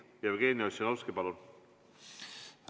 Jevgeni Ossinovski, palun!